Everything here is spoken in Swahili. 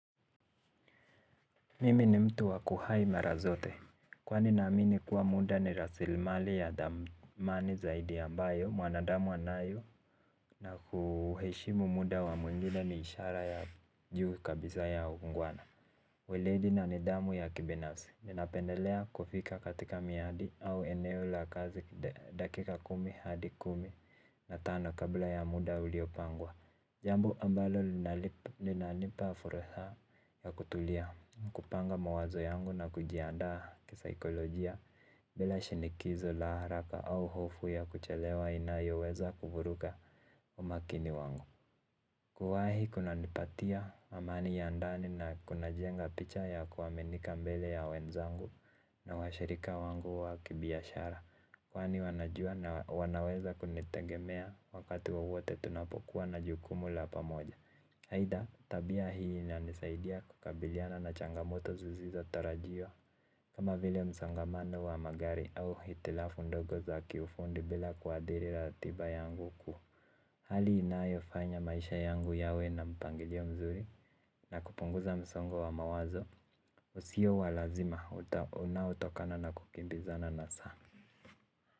Mimi ni mtu wa kuwahi mara zote. Kwani naamini kuwa muda ni rasilimali ya thamani zaidi ambayo mwanadamu anayo, na kuheshimu muda wa mwingine ni ishara ya juu kabisa ya uungwana. Weledi na nidhamu ya kibinafsi. Ninapendelea kufika katika miadi au eneo la kazi dakika kumi hadi kumi na tano kabla ya muda uliopangwa. Jambo ambalo linanipa fursa ya kutulia, kupanga mawazo yangu na kujiandaa kisaikolojia bila shinikizo la haraka au hofu ya kuchelewa inayoweza kuvuruga umakini wangu. Kuwahi kunanipatia amani ya andani na kunajenga picha ya kuaminika mbele ya wenzangu na washirika wangu wa kibiashara. Kwani wanajua na wanaweza kunitegemea wakati wowote tunapokuwa na jukumu la pamoja. Aidha, tabia hii inanisaidia kukabiliana na changamoto zisizotarajiwa. Kama vile msongamano wa magari au hitilafu ndogo za kiufundi bila kuathiri ratiba yangu kuu. Hali inayofanya maisha yangu yawe na mpangilio mzuri na kupunguza msongo wa mawazo usio wa lazima unaotokana na kukimbizana na saa.